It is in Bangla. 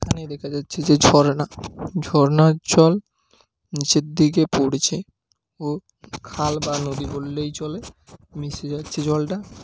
এখানে দেখা যাচ্ছে যে ঝর্ণা ঝরনার জল নিচের দিকে পড়ছে ও খাল বা নদী বললেই চলে। মিশে যাচ্ছে জলটা--